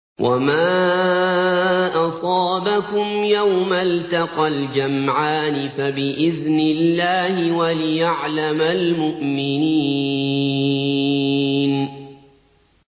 وَمَا أَصَابَكُمْ يَوْمَ الْتَقَى الْجَمْعَانِ فَبِإِذْنِ اللَّهِ وَلِيَعْلَمَ الْمُؤْمِنِينَ